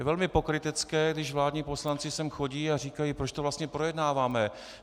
Je velmi pokrytecké, když vládní poslanci sem chodí a říkají: Proč to vlastně projednáváme?